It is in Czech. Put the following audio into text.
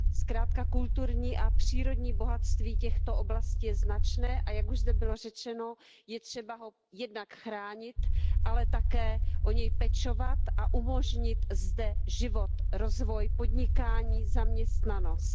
Zkrátka kulturní a přírodní bohatství těchto oblastí je značné a jak už zde bylo řečeno, je třeba ho jednak chránit, ale také o něj pečovat a umožnit zde život, rozvoj podnikání, zaměstnanost.